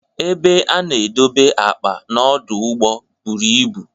Ebe ana edobe akpa n'ọdụ ụgbọ buru ibu